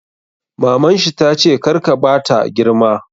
Maman shi tace 'kar ka bata girma'!